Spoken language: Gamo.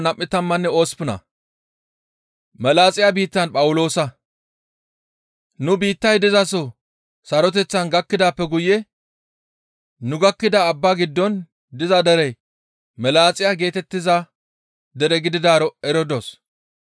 Nu biittay dizaso saroteththan gakkidaappe guye nu gakkida abbaa giddon diza derey Melaaxiya geetettiza dere gididaaro eridos.